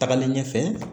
Tagalen ɲɛfɛ